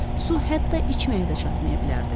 Su hətta içməyə də çatmaya bilərdi.